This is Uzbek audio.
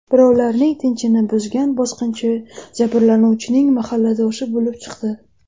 Birovlarning tinchini buzgan bosqinchi jabrlanuvchining mahalladoshi bo‘lib chiqdi.